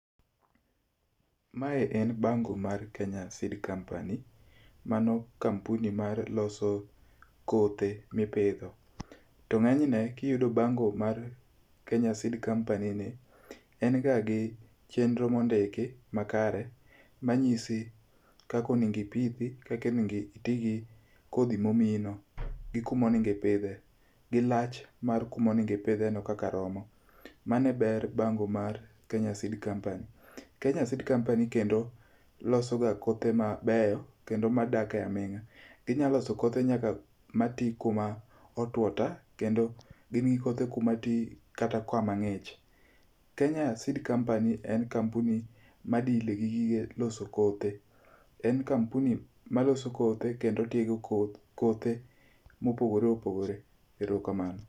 Mae en bango mar Kenya Seed Company, mano kampuni maloso kothe mipidho, to ng'eny ne kiyudo bango kar Kenya Seed Company ni, en ga gi chenro mondiki makare manyisi kaka onego ipithi, kaka onego iti gi kodhi momiyino, gi kuma on ego ipidhe, gilach mar kuma onego ipidheno kaka romo. Mano eber bango mar Kenya Seed Company. Kenya Seed Company kendo losoga kothe mabeyo kendo madak aming'a. Ginyalo loso kothe nyaka matwi kuma otwo ta kendo gin gi kothe kuma ti kata kama ng'ich. Kenya Seed Company en kampuni ma deal gi gige loso kothe. En kampuni maloso kothe kendo tiego kothe mopogore opogore. Erokamano.